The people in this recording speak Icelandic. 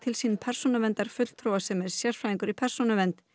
sín persónuverndarfulltrúa sem er sérfræðingur í persónuvernd